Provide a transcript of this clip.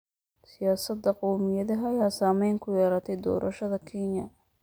Siyaasadda qowmiyadaha ayaa saameyn ku yeelatay doorashada Kenya.